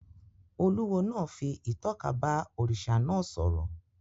Olúwo náà fi ìtọ́ka bá òrìṣà náà sọ̀rọ̀